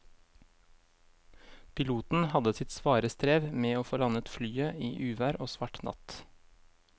Piloten hadde sitt svare strev med å få landet flyet i uvær og svart natt.